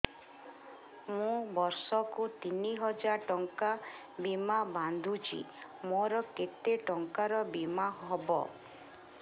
ମୁ ବର୍ଷ କୁ ତିନି ହଜାର ଟଙ୍କା ବୀମା ବାନ୍ଧୁଛି ମୋର କେତେ ଟଙ୍କାର ବୀମା ହବ